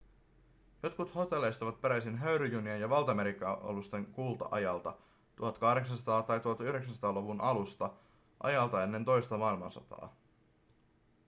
jotkut hotelleista ovat peräisin höyryjunien ja valtamerialusten kulta-ajalta 1800-luvulta tai 1900-luvun alusta ajalta ennen toista maailmansotaa